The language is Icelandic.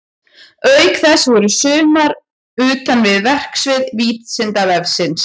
Auk þess voru sumar utan við verksvið Vísindavefsins.